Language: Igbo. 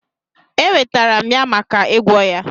Eweterem ya maka igwọ ya.